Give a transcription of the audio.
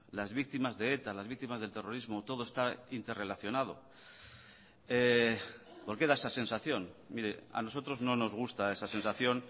las víctimas de eta las víctimas del terrorismo todo está interrelacionado por qué da esa sensación mire a nosotros no nos gusta esa sensación